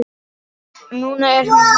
Núna er hún horfin.